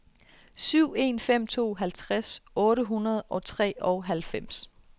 syv en fem to halvtreds otte hundrede og treoghalvfems